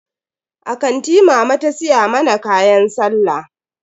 A kanti mama ta siya mana kayan sallah.